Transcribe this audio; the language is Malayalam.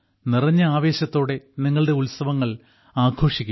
നിറഞ്ഞ ആവേശത്തോടെ നിങ്ങളുടെ ഉത്സവങ്ങൾ ആഘോഷിക്കുക